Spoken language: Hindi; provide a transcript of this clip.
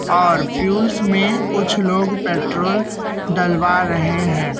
और फ्यूल्स में कुछ लोग पेट्रोल डलवा रहे हैं।